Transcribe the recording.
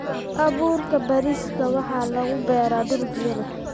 Abuurka bariiska waxaa lagu beeraa dhul biyo leh.